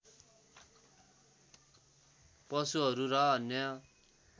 पशुहरू र अन्य